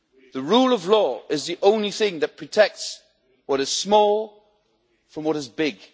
The rule of law is the only thing that protects what is small from what is big.